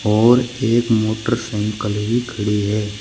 और एक मोटरसाइकल भी खड़ी है।